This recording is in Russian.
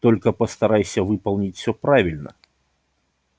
только постарайся выполнить все правильно